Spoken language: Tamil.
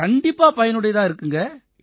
கண்டிப்பா பயனுடையதா இருக்குங்க